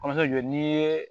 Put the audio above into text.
Kɔrɔjɔ n'i ye